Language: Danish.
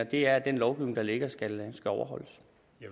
det er at den lovgivning der ligger skal overholdes